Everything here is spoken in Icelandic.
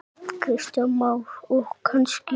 Kristján Már: Og kannski oft?